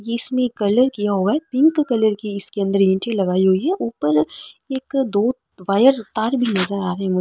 इसमें कलर किया हुआ है पिंक कलर की इसमें इट्टे लगाई हुए है ऊपर एक दो वायर तार भी नजर आ रहे है मुझे।